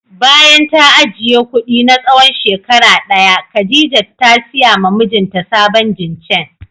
Bayan ta ajiye kudi na tsawon shekara daya Khadijat ta siya ma mijinta sabon jincheng